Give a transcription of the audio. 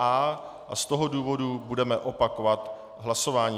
A a z toho důvodu budeme opakovat hlasování.